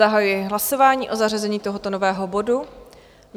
Zahajuji hlasování o zařazení tohoto nového bodu.